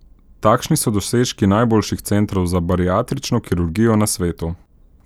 Takšni so dosežki najboljših centrov za bariatrično kirurgijo na svetu.